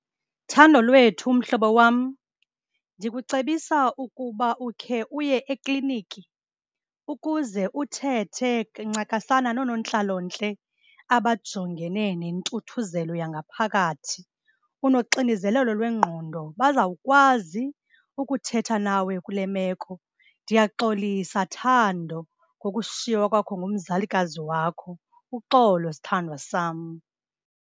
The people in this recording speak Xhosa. Thandolwethu mhlobo wam, ndikucebisa ukuba ukhe uye ekliniki ukuze uthethe ncakasana noonontlalontle abajongene nentuthuzelo yangaphakathi. Unoxinzelelo lwengqondo, bazawukwazi ukuthetha nawe kule meko. Ndiyaxolisa Thando ngokushiywa kwakho ngumzalikazi wakho, uxolo sithandwa sam.